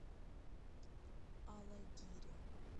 алагире